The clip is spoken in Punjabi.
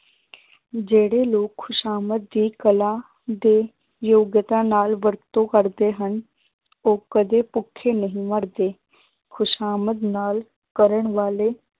ਜਿਹੜੇ ਲੋਕ ਖ਼ੁਸ਼ਾਮਦ ਦੀ ਕਲਾ ਦੇ ਯੋਗਤਾ ਨਾਲ ਵਰਤੋਂ ਕਰਦੇ ਹਨ ਉਹ ਕਦੇ ਭੁੱਖੇ ਨਹੀਂ ਮਰਦੇ ਖ਼ੁਸ਼ਾਮਦ ਨਾਲ ਕਰਨ ਵਾਲੇ